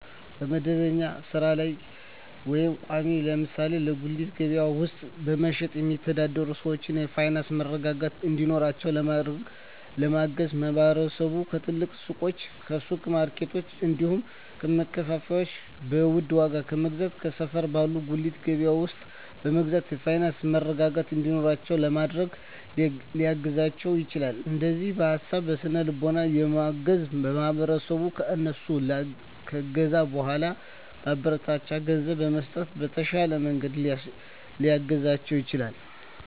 መደበኛ ባልሆነ ስራ ላይ ወይም ቋሚ (ለምሳሌ በጉሊት ገበያ ውስጥ በመሸጥ የሚተዳደሩ ሰዎችን የፋይናንስ መረጋጋት እንዲኖራቸው ለማድረግና ለማገዝ ማህበረሰቡ ከትልልቅ ሱቆች፣ ከሱፐር ማርኬቶች፣ እንዲሁም ከማከፋፈያዎች በውድ ዋጋ ከመግዛት ከሰፈር ባለ ጉሊት ገበያ ውስጥ በመግዛት የፋይናንስ መረጋጋት እንዲኖራቸው ለማድረግ ሊያግዛቸው ይችላል። እንዲሁም በሀሳብ በስነ ልቦና በማገዝ ማህበረሰቡ ከእነሱ ከገዛ በኃላ ማበረታቻ ገንዘብ በመስጠት በተሻለ መንገድ ሊያግዛቸው ይችላል።